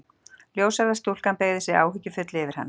Ljóshærða stúlkan beygði sig áhyggjufull yfir hann.